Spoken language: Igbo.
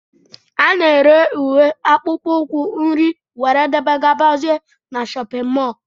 Ana ere ùwé, akpụkpọ ukwu, nri wdg na shóppin mol